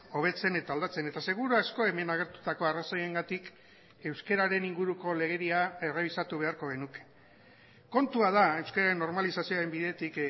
hobetzen eta aldatzen eta seguru asko hemen agertutako arrazoiengatik euskararen inguruko legedia errebisatu beharko genuke kontua da euskararen normalizazioaren bidetik